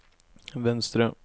venstre